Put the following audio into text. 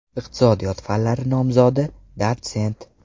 Iqtisodiyot fanlari nomzodi, dotsent.